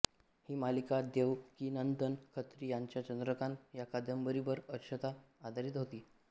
ही मालिका देवकीनंदन खत्री यांच्या चंद्रकांता ह्या कादंबरीवर अंशतः आधारित होती